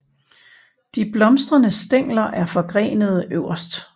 De blomstrende stængler er forgrenede øverst